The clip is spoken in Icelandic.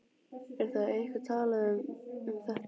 Er þá eitthvað talað um þetta?